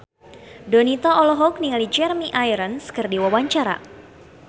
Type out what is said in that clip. Donita olohok ningali Jeremy Irons keur diwawancara